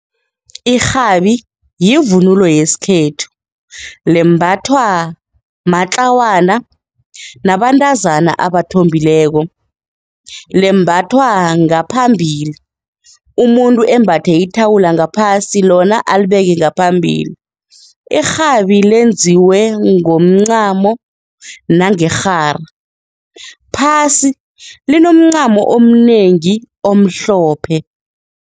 Irhabi yivunulo yesikhethu, lembathwa matlawana nabantazana abathombekileko, lembathwa ngaphambili, umuntu embathe ithawula ngaphasi lona alibeke ngaphambili. Irhabi lenziwe ngomncamo nangerhara, phasi linomncamo omnengi omhlophe.